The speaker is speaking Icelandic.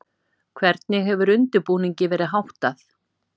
Hvernig hefur undirbúningi verið háttað?